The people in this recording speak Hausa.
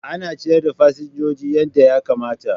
Ana ciyar da fasinjoji yadda ya kamata.